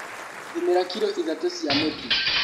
Thimĩra kiro ithatũ cia mũtu.